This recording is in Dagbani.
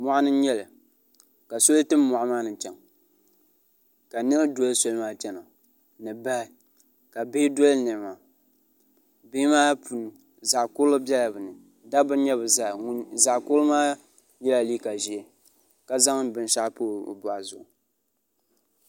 moɣani n nyɛli ka soli tim moɣa maa ni chɛŋ ka niɣi dɔli sɔli maa chɛna ni bahi ka bihi dɔli niɣi maa bihi maa puuni zaɣ kurili biɛla bi ni dabba n nyɛ bi zaa zaɣ kurili maa yɛla liiga ʒiɛ ka zaŋ binshaɣu pa o boɣu zuɣu